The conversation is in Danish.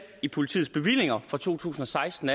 i politiets bevillinger fra to tusind og seksten